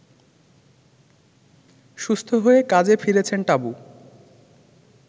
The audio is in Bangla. সুস্থ হয়ে কাজে ফিরেছেন টাবু